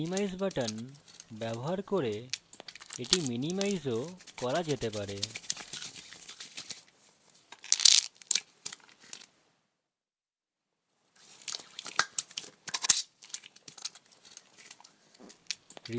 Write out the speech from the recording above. minimize button ব্যবহার করে এটি minimize ও করা যেতে পারে